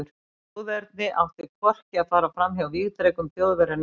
Þjóðernið átti hvorki að fara fram hjá vígdrekum Þjóðverja né Breta.